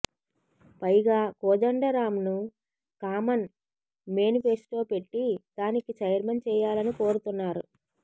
పైగా కోదండరాంను common manifesto పెట్టి దానికి ఛైర్మన్ చేయాలని కోరుతున్నారు